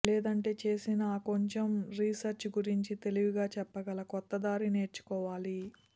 లేదంటే చేసిన ఆ కొంచెం రీసెర్చ్ గురించి తెలివిగా చెప్పగల కొత్తదారి నేర్చుకోవాలి